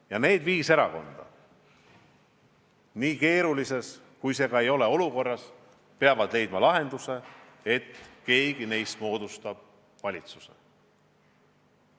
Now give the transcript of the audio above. Ja need viis erakonda, olgu olukord kui keeruline tahes, peavad leidma lahenduse, et keegi neist moodustab valitsuse.